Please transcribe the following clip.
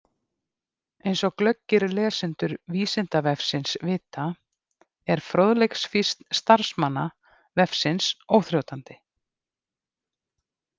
Eins og glöggir lesendur Vísindavefsins vita er fróðleiksfýsn starfsmanna vefsins óþrjótandi.